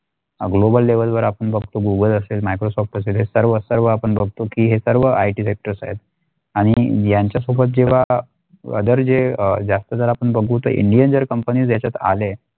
Global level वर आपण बगतो Google असेल Microsoft असेल हे सर्व server आपण बगतो की हे सर्व IT sector आणि यांचा सोबत जेव्हा जे अ जास्त जर आपण बघू दे Indian जर company ह्याच्यात आले.